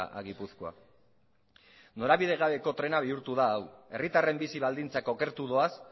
a gipuzkoa norabide gabeko trena bihurtu da hau herritarren bizi baldintzak okertu doaz